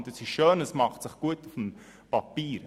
Dies ist schön und macht sich gut auf dem Papier.